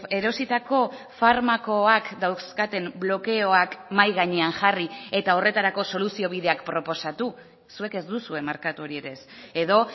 erositako farmakoak dauzkaten blokeoak mahai gainean jarri eta horretarako soluzio bideak proposatu zuek ez duzue markatu hori ere ez edo